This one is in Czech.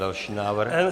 Další návrh.